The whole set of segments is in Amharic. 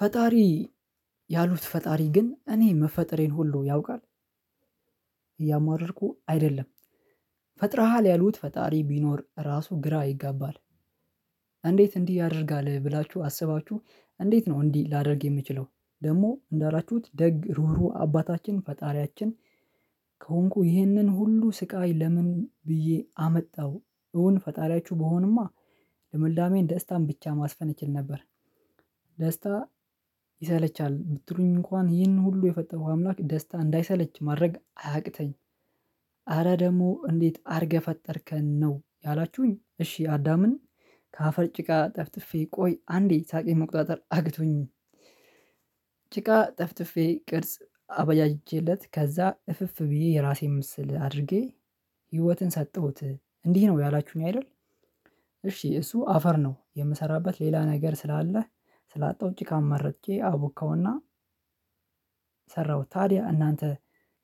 ፈጣሪ ያሉት፣ ፈጣሪ ግን እኔ መፈጠሬን ሁሉ ያውቃል። እያማረርኩ አይደለም፤ ፈጥረሃል ያሉት፣ ፈጣሪ ቢኖር ራሱ ግራ ይጋባል። እንዴት እንዲህ ያደርጋል ብላችሁ አስባችሁ፣ እንዴት ነው እንዲህ ላደርግ የምችለው? ደግሞ እንዳላችሁት ደግ፣ ሩህሩህ አባታችን፣ ፈጣሪያችን ከሆንኩ፣ ይህንን ሁሉ ስቃይ ለምን ብዬ አመጣው? እውን ፈጣሪያችሁ ብሆንማ ለመልዳሜ ደስታን ብቻ ማስፈን እችል ነበር። ደስታ ይሰለቻል ብትሉኝ እንኳን፣ ይህን ሁሉ የፈጠረ አምላክ ደስታ እንዳይሰለች ማድረግ አያቅተኝ። አረ ደግሞ እንዴት አድርገህ ፈጠርከን ነው ያላችሁኝ? እሺ፣ አዳምን ከአፈር ጭቃ ጠፍጥፌ፣ ቆይ አንዴ ሳቂ መቆጣጠር አቅቶኝ ጭቃ ጠፍጥፌ ቅርጽ አበያጅቼለት፣ ከዛ እፍ እፍ ብዬ የራሴን ምስል አድርጌ ህይወትን ሰጠሁት። እንዲህ ነው ያላችሁኝ አይደል? እሺ፣ እሱ አፈር ነው የምሰራበት፤ ሌላ ነገር ስላለህ፣ ስላጣው ጭቃን መረጥኩ፣ አቡከውና ሠራሁት ታዲያ። እናንተ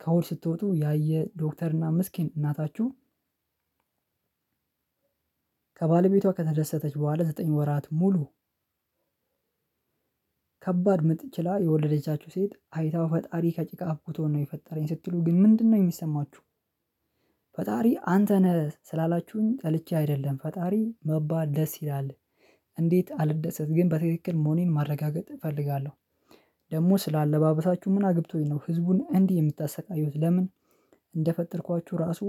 ከውል ስትወጡ ያየ ዶክተርና ምስኪን እናታችሁ ከባለቤቷ ከተደሰተች በኋላ፣ ዘጠኝ ወራት ሙሉ ከባድ ምጥን ችላ የወለደቻችሁ ሴት አይታችሁ፣ ፈጣሪ ከጭቃ አብክቶን ነው የፈጠረኝ ስትሉ ግን ምንድነው የሚሰማችሁ? ፈጣሪ አንተ ነህ ስላላችሁኝ ጠልቼ አይደለም፤ ፈጣሪ መባል ደስ ይላል። እንዴት አልደሰት ግን? በትክክል መሆኔን ማረጋገጥ እፈልጋለሁ። ደግሞ ስለ አለባበሳችሁ ምን አግብቶኝ ነው? ሕዝቡን እንዲህ የምታሰቃዩት ለምን? እንደፈጠርኳችሁ ራሱ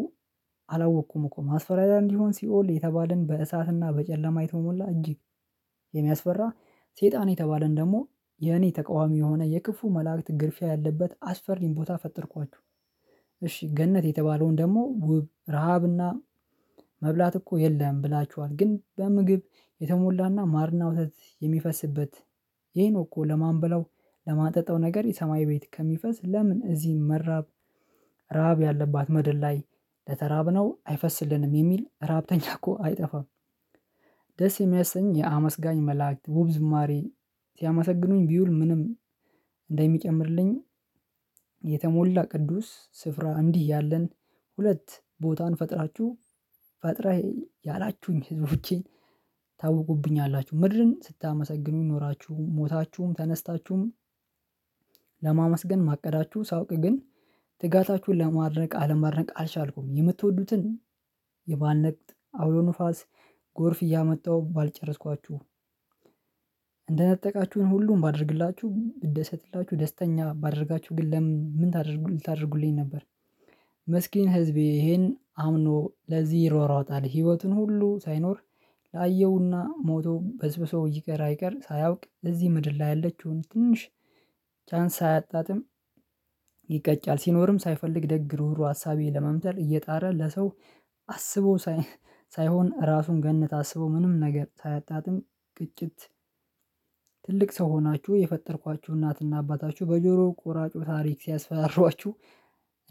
አላወቅኩም እኮ። ማስፈራሪያ እንዲሆን ሲኦል የተባለው፣ በእሳትና በጨለማ የተሞላ፣ እጅግ የሚያስፈራ ሰይጣን የተባለን ደግሞ የእኔ ተቃዋሚ የሆነ፣ የክፉ መላእክት ግርፊያ ያለበት፣ አስፈሪ ቦታ ፈጠርኳችሁ። እሺ፣ ገነት የተባለውን ደግሞ ውብ፣ ረሃብና መብላት እኮ የለም ብላችኋል፤ ግን በምግብ የተሞላና ማርና ወተት የሚፈስበት ይሄ ነው እኮ። ለማን ብለው ለማጠጣው ነገር የሰማይ ቤት ከሚፈስ፣ ለምን እዚህ መራብ ራብ ያለባት ምድር ላይ ለተራብነው አይፈስልንም የሚል፣ ራብተኛ እኮ አይጠፋም። ደስ የሚያሰኝ፣ የሚያመሰግኑ መላእክት ውብ ዝማሬ ሲያመሰግኑኝ ቢውል፣ ምንም እንደሚጨምርልኝ የተሞላ፣ ቅዱስ ስፍራ እንዲህ ያለን ሁለት ቦታን ፈጥራችሁ ፈጥረህ ያላችሁኝ፣ ሕዝቦቼን ታውቁብኛላችሁ፣ ምድርን ስታመሰግኑ ኖራችሁ፣ ሞታችሁም ተነስታችሁም ለማመስገን ማቀዳችሁን ሳውቅ ግን፣ ትጋታችሁን ለማድረግ አለማድረግ አልቻልኩም፤ የምትወዱትን የማንነቃት አውሎ ንፋስ፣ ጎርፍ እያመጣሁ ባልጨረስኳችሁ እንደነጠቃችሁን ሁሉም ባደርግላችሁ፣ ብትደሰትላችሁ፣ ደስተኛ ባደረጋችሁ ግን ምን ምን ታደርጉ? ልታደርጉልኝ ነበር? ምስኪን ሕዝቤ፣ ይሄን አምኖ ለዚህ ይሯሯጣል። ህይወቱን ሁሉ ሳይኖር፣ ላየውና ሞቶም በዝብዞ ይቅር አይቀር ሳያውቅ፣ እዚህ ምድር ላይ ያለችውን ትንሽ ቻንስ አያጣጥም። ይቀጫል፣ ሲኖርም ሳይፈልግ፣ ደግ ሩሩ ሐሳቤ ለመምጠር እየጣረ፣ ለሰው አስቦ ሳይሆን ራሱን ገነት አስቦ፣ ምንም ነገር ሳያጣጥም፣ ግጭት ትልቅ ሰው ሆናችሁ የፈጠርኳችሁ፣ እናትና አባታችሁ በጆሮ ቆራጩ ታሪክ ሲያስፈራሯችሁ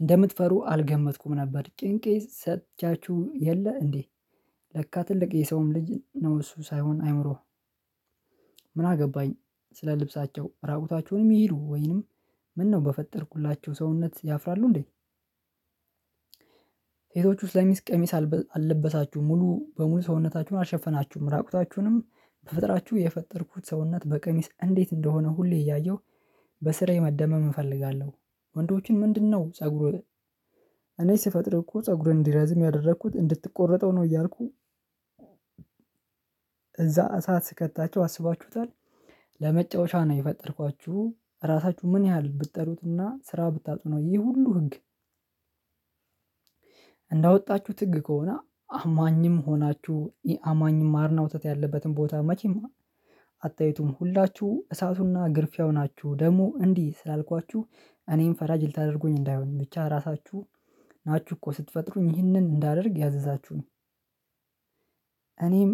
እንደምትፈሩ አልገመትኩም ነበር። ጭንቄ ሰጥቻችሁ የለ እንዴ? ለካ ትልቅ የሰውም ልጅ ነው እሱ፣ ሳይሆን አእምሮህ ምን አገባኝ ስለ ልብሳቸው? ራቁታቸውንም ይሄዱ ወይንም ምነው በፈጠርኳቸው ሰውነት ያፍራሉ እንዴ? ሴቶች ውስጥ ለምን ቀሚስ አልለበሳችሁም? ሙሉ በሙሉ ሰውነታችሁን አልሸፈናችሁም፣ ራቁታችሁንም በፍጥረታችሁ የፈጠርኩት ሰውነት በቀሚስ እንዴት እንደሆነ ሁሌ እያየሁ በሥር የመደመም እፈልጋለሁ። ወንዶችን ምንድነው ጸጉሩ? እኔ ስፈጥር እኮ ጸጉሩን እንዲረዝም ያደረኩት እንድትቆረጠው ነው እያልኩ እዛ እሳት ስከታችሁ አስባችሁታል? ለመጫወቻ ነው የፈጠርኳችሁ ራሳችሁ ምን ያህል ብትጠሩትና ስራ ብታጡ ነው ይህ ሁሉ ሕግ? እንዳወጣችሁት ሕግ ከሆነ፣ አማኝም ሆናችሁ ኢአማኝም ማርና ወተት ያለበትን ቦታ መቼም አታዩትም ሁላችሁ? እሳቱና ግርፊያው ናችሁ። ደግሞ እንዲህ ስላልኳችሁ እኔንም ፈራጅ ልታደርጉኝ እንዳይሆንኝ ብቻ። ራሳችሁ ናችሁ እኮ ስትፈጥሩኝ ይህንን እንዳደርግ ያዘዛችሁኝ። እኔም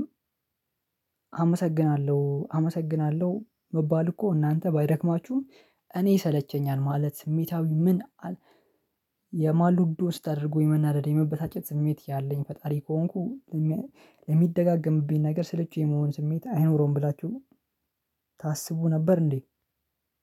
አመሰግናለሁ። አመሰግናለሁ መባል እኮ እናንተ ባይደክማችሁም፣ እኔ ይሰለቸኛል ማለት ስሜታዊ ምን የማሉዶ ስታደርገው፣ የመናደድ፣ የመበታጨት ስሜት ያለኝ። ፈጣሪ ከሆንኩ፣ ለሚደጋገምብኝ ነገር ስለችው የመሆን ስሜት አይኖረውም ብላችሁ ነው ታስቡ ነበር እንዴ?